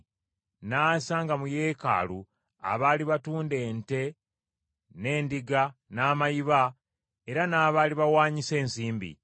N’asanga mu Yeekaalu abaali batunda ente n’endiga n’amayiba era n’abali bawaanyisa ensimbi.